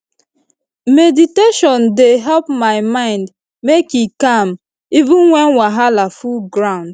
meditation dey train my mind make e calm even when wahala full ground